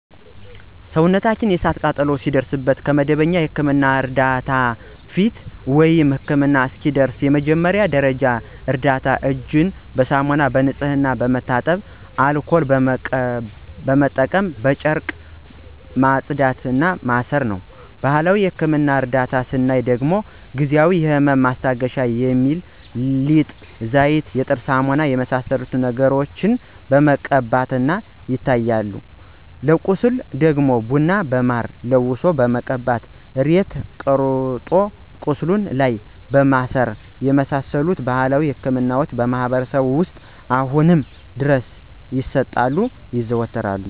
ሰውነታችን የእሳት ቃጠሎ ሲደርስበት ከመደበኛ የሕክምና ዕርዳታ በፊት፣ ወይም ህክምና እስኪደርሱ የመጀመሪያ ደረጃ እርዳታ እጅን በሳሙናና በንጹህ ውሃ በመታጠብ አልኮል በመጠቀም በጨርቅ ማጽዳት እና ማሰር ነው። በባህላዊ የህክምና እርዳታ ስናይ ደግሞ ጊዜአዊ የህመም ማስታገሻ በሚል ሊጥ፣ ዘይት፣ የጥርስ ሳሙና የመሳሰሉትን ነገሮችን መቀባቶች ይታያሉ። ለቁስል ደግሞ ቡና በማር ለውሶ መቀባት እና ሬት ቆርጦ ቁስሉ ላይ ማሰር የመሳሰሉት ባህላዊ ህክምናዎች በማህበረሰባችን ውስጥ አሁንም ድረስ ይሰጣሉ (ይዘወተራሉ)።